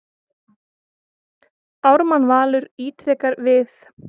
Ármann Valur ítrekar við